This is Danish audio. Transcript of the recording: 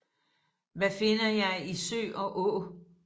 Hvad finder jeg i sø og å